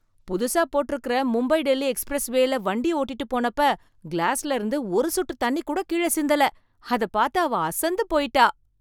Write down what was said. புதுசா போட்டிருக்கிற மும்பை-டெல்லி எக்ஸ்பிரஸ்வேல வண்டி ஓட்டிட்டுப் போனப்ப கிளாஸ்ல இருந்து ஒரு சொட்டு தண்ணி கூட கீழ சிந்தல, அதப் பாத்து அவ அசந்துப் போயிட்டா